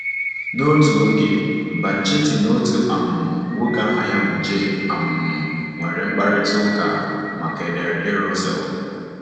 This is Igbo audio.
N’otu oge, Banchetti na otu um nwoke aha ya bụ J um nwere mkparịta ụka make ederede Russell.